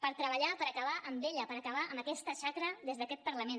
per treballar per acabar amb ella per acabar amb aquesta xacra des d’aquest parlament